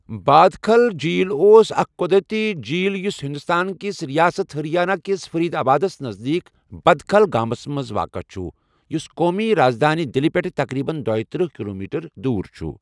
بادکھل جیٖل اوس اکھ قدرتی جیٖل یُس ہندوستان کِس ریاست ہریانہ کِس فرید آبادَس نزدیٖک بدکھل گامَس منٛز واقعہٕ چھُ، یُس قومی رازدٲنی دِلہِ پٮ۪ٹھ تقریباً دۄتٔرہ کِلُومیٹر دوٗر چھُ۔